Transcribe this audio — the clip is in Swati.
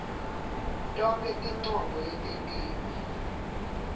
tonkhe tincomo letentiwe